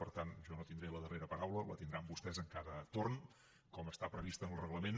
per tant jo no tindré la darrera paraula la tindran vostès en cada torn com està previst en el reglament